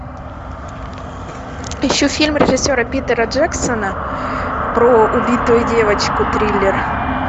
ищу фильм режиссера питера джексона про убитую девочку триллер